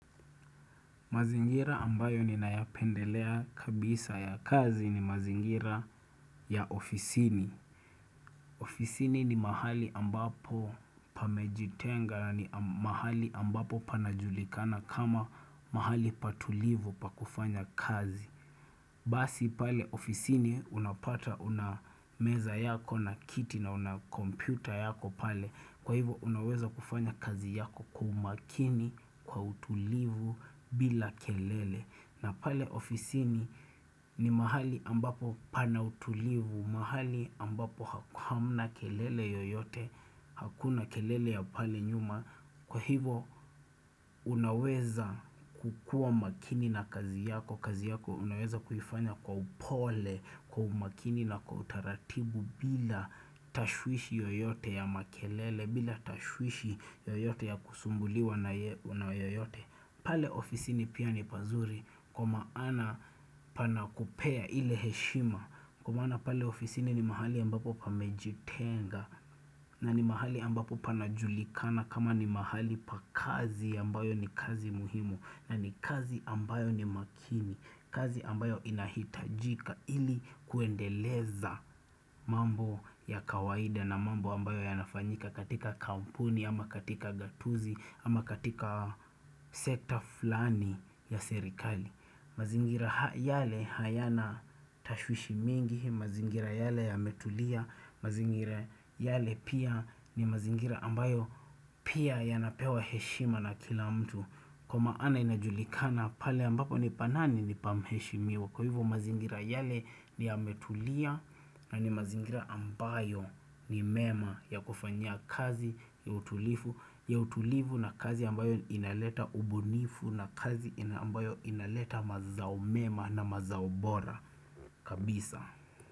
Mazingira ambayo ninayapendelea kabisa ya kazi ni mazingira ya ofisini. Ofisini ni mahali ambapo pameji tenga ni mahali ambapo panajulikana kama mahali patulivu pa kufanya kazi. Basi pale ofisini unapata unameza yako na kiti na una kompyuta yako pale. Kwa hivo unaweza kufanya kazi yako kwa umakini kwa utulivu bila kelele. Na pale ofisini ni mahali ambapo pana utulivu, mahali ambapo hamna kelele yoyote, hakuna kelele ya pale nyuma. Kwa hivo unaweza kukuwa makini na kazi yako, kazi yako unaweza kuifanya kwa upole, kwa umakini na kwa utaratibu bila tashwishi yoyote ya makelele, bila tashwishi yoyote ya kusumbuliwa na yoyote. Pale ofisini pia ni pazuri kwa maana pana kupea ile heshima Kwa maana pale ofisini ni mahali ambapo pa mejitenga na ni mahali ambapo pana julikana kama ni mahali pa kazi ambayo ni kazi muhimu na ni kazi ambayo ni makini kazi ambayo inahitajika ili kuendeleza mambo ya kawaida na mambo ambayo ya nafanyika katika kampuni ama katika gatuzi, ama katika sekta fulani ya serikali mazingira yale hayana tashwishi mingi mazingira yale ya metulia mazingira yale pia ni mazingira ambayo pia ya napewa heshima na kila mtu Kwa maana inajulikana pale ambapo ni pa mani ni pa mheshimiwa Kwa hivo mazingira yale ni ya metulia na ni mazingira ambayo ni mema ya kufanyia kazi ya utulifu ya utulivu na kazi ambayo inaleta ubunifu na kazi ambayo inaleta mazao mema na mazao bora kabisa.